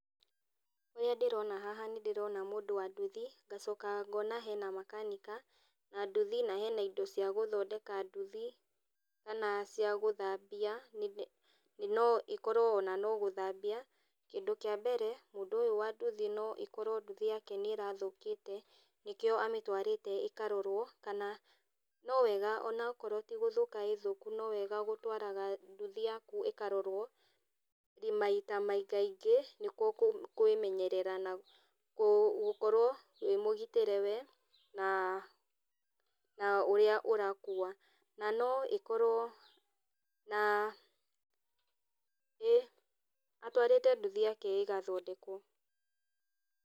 Ũrĩa ndĩrona haha nĩ ndĩrona mũndũ wa nduthi, ngacoka ngona hena makanika na nduthi na hena indo cia gũthondeka nduthi, hena cia gũthambia no ĩkorwo ona no gũthambia. Kĩndũ kĩa mbere mũndũ ũyũ wa nduthi no ĩkorwo nduthi yake nĩ ĩrathũkĩte nĩkĩo amĩtũarĩte ĩkarorũo kana no wega ona okorwo ti gũthũka ĩĩ thũku no wega gũtwaraga nduthi yaku ĩkarorwo maita maingaingĩ nĩkuo kwĩmenyerera na gũkorwo wĩ mũgitĩre wee na ũrĩa ũrakuua. Na no ĩkorũo na pause ĩĩ atũarĩte nduthi yake ĩgathondekũo.